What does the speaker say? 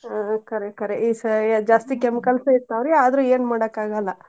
ಹಾ ಖರೇ ಖರೇ ಈ ಸಯ~ ಜಾಸ್ತಿ chemicals ಇರ್ತಾವ್ರಿ ಅದ್ರ್ ಏನ್ ಮಾಡಕಾಗಲ್ಲಾ.